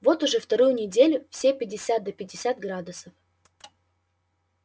вот уже вторую неделю все пятьдесят да пятьдесят градусов